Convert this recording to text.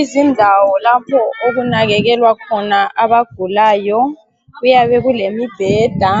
Izindawo lapho okunakekelwa khona abagulayo kuyabe kulemibheda